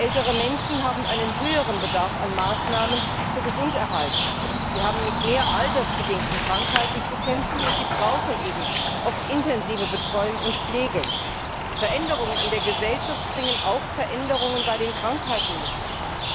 Ältere Menschen haben einen höheren Bedarf an Maßnahmen zur Gesunderhaltung, sie haben mit mehr altersbedingten Krankheiten zu kämpfen, und sie brauchen eben oft intensive Betreuung und Pflege. Die Veränderungen in der Gesellschaft bringen auch Veränderungen bei den Krankheiten mit sich.